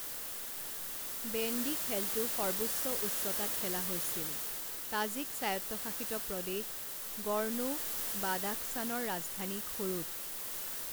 Bandy খেলটো সৰ্বোচ্চ উচ্চতাত খেলা হৈছিল তাজিক স্বায়ত্তশাসিত প্ৰদেশ গৰ্নো বাদাখছানৰ ৰাজধানী খোৰুত।